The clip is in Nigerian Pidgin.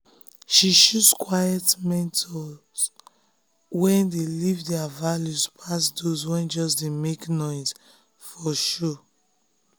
she choose quiet mentors wey dey live their values pass those wey just dey make noise for show.